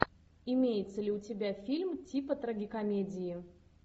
имеется ли у тебя фильм типа трагикомедии